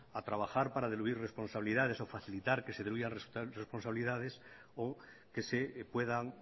a trabajar para diluir responsabilidades o facilitar que se diluyan responsabilidades o que se puedan